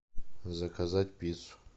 заказать пиццу